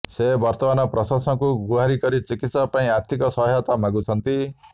ସେ ବର୍ତ୍ତମାନ ପ୍ରଶାସନଙ୍କୁ ଗୁହାରୀ କରି ଚିକିତ୍ସା ପାଇଁ ଆର୍ଥିକ ସହାୟତା ମାଗିଛନ୍ତି